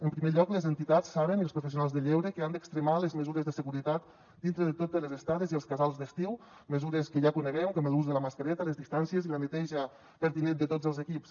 en primer lloc les entitats saben i els professionals de lleure que han d’extremar les mesures de seguretat dintre de totes les estades i els casals d’estiu mesures que ja coneixem com l’ús de la mascareta les distàncies i la neteja pertinent de tots els equips